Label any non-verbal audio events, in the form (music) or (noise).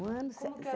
Um ano, sete (unintelligible)